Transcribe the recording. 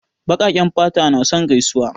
Baƙaƙen fata na son gaisuwa.